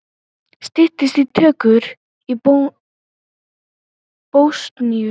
Styttist í tökur í Bosníu